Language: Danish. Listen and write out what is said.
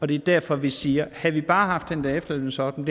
det er derfor vi siger havde vi bare haft den der efterlønsordning